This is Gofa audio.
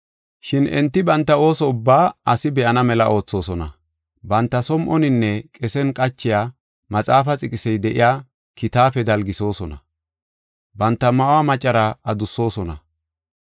“Shin enti banta ooso ubbaa asi be7onna mela oothosona. Banta som7oninne qesen qachiya maxaafaa xiqisey de7iya kitaafe dalgisoosona, banta ma7uwa macaraa adussosona.